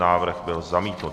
Návrh byl zamítnut.